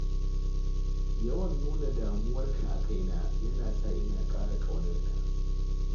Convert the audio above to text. Yawan nuna damuwarka a kaina yana sa ina ƙara ƙaunarka.